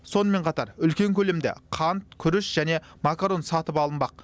сонымен қатар үлкен көлемде қант күріш және макарон сатып алынбақ